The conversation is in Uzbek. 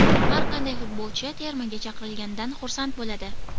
Har qanday futbolchi termaga chaqirilganidan xursand bo‘ladi.